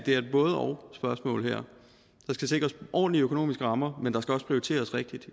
både og spørgsmål der skal sikres ordentlige økonomiske rammer men der skal også prioriteres rigtigt